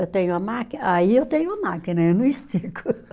Eu tenho a máquina, aí eu tenho a máquina, eu não estico.